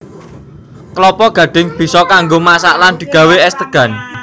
Klapa gadhing bisa kanggo masak lan digawé és degan